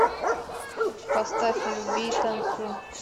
поставь люби и танцуй